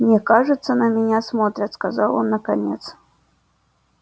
мне кажется на меня смотрят сказал он наконец